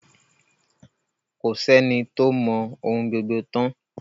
Ko sí ẹni tó mọ ohun gbogbo tán.